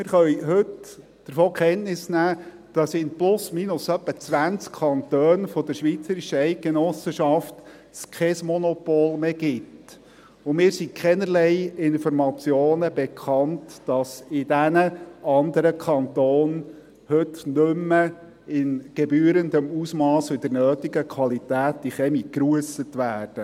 Wir können heute davon Kenntnis nehmen, dass es in etwa 20 Kantonen der schweizerischen Eidgenossenschaft kein Monopol mehr gibt, und mir sind keinerlei Informationen bekannt, dass die Kamine in diesen anderen Kantonen heute nicht mehr in gebührendem Ausmass und in der nötigen Qualität gerusst werden.